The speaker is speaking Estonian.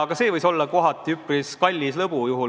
Ka see võis olla üpris kallis lõbu.